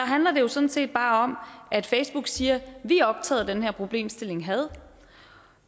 handler det jo sådan set bare om at facebook siger vi er optaget af den her problemstilling had